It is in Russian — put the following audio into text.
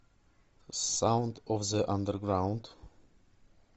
саунд оф зэ андерграунд